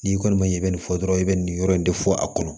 N'i kɔni ma ɲɛ i bɛ nin fɔ dɔrɔn i bɛ nin yɔrɔ in de fɔ a kɔnɔ